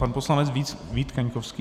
Pan poslanec Vít Kaňkovský.